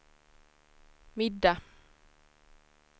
middag